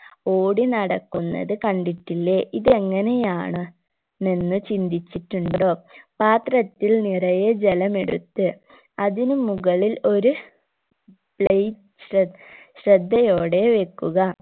ഓടി നടക്കുന്നത് കണ്ടിട്ടില്ലേ ഇതെങ്ങെനയാണ് എന്ന് ചിന്തിച്ചിട്ടുണ്ടോ പാത്രത്തിൽ നിറയെ ജലമെടുത്ത് അതിന് മുകളിൽ ഒരു light ശ്രദ്ധ് ശ്രദ്ധയോടെ വെക്കുക